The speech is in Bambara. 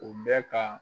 U bɛ ka